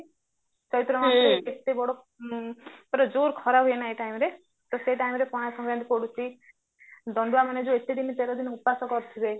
ଚୈତ୍ର ମାସରେ ଏତେ ବଡ ପୁରା ଜୋର ଖରା ହୁଏ ନା ଏଇ timeରେ ତ ସେଇ timeରେ ପଣା ଶଙ୍କାରାନ୍ତି ପଡୁଚି ଦଣ୍ଡୁଆ ମାନେ ଯୋଉ ଏତେ ଦିନ ତେର ଦିନ ଉପାସ କରିଥିବେ